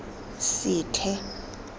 sethe